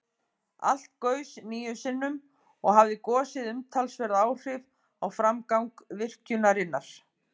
Alls gaus níu sinnum, og hafði gosið umtalsverð áhrif á framgang virkjunarinnar.